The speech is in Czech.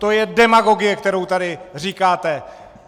To je demagogie, kterou tady říkáte!